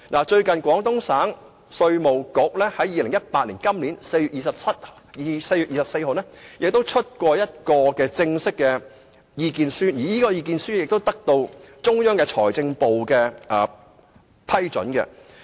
最近，廣東省稅務局在2018年4月24日發表一份正式的意見書，而這份意見書亦得到中央財政部的批准。